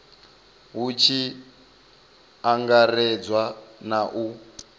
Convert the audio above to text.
hu tshi angaredzwa na u